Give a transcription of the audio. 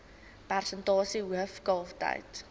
persentasie hoof kalftyd